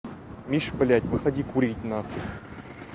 миша блять выходи курить нахуй